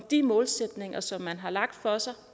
de målsætninger som man har lagt for sig